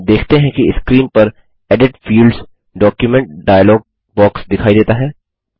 हम देखते हैं कि स्क्रीन पर edit Fields document dialog box दिखाई देता है